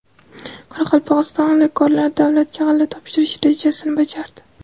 Qoraqalpog‘iston g‘allakorlari davlatga g‘alla topshirish rejasini bajardi.